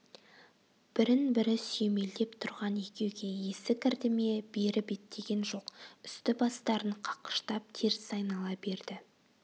бірін-бірі сүйемелдеп тұрған екеуге есі кірді ме бері беттеген жоқ үсті-бастарын қаққыштап теріс айнала берді